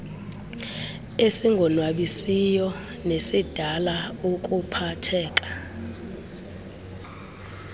esingonwabisiyo nesidala ukuphatheka